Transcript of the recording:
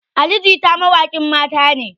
Ali jita mawaƙin mata ne